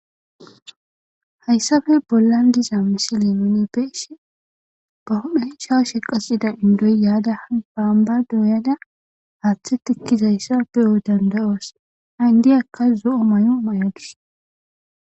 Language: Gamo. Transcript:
hayssafe bollan diza misile mine beeshi ba hodhe cshaa she qasida indoy yaada han baamba dooyana haaththe tikkizayssa beyo danda7os hayndiy akka zo7o may7o may7odus